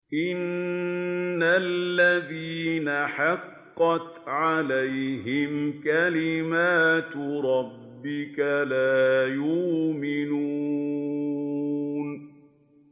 إِنَّ الَّذِينَ حَقَّتْ عَلَيْهِمْ كَلِمَتُ رَبِّكَ لَا يُؤْمِنُونَ